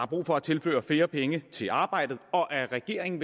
brug for at tilføre flere penge til arbejdet og at regeringen